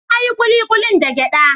Na yi kulikulin da giɗa.